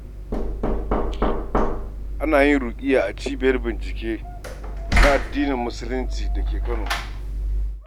Ana yin ruƙuyya a cibiyar bincike na addinin Musulunci da ke Kano